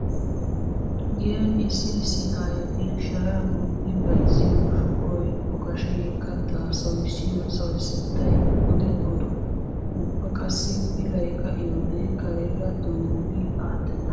Giyan issi issi aayoti sharan utti bayzziyo shuqoy okashee kattaa sawissiyo sawissettay odin odo. Ubba qassi pilay ka'iyode kareera tanggu gi aattenna.